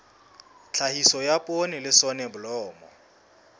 tlhahiso ya poone le soneblomo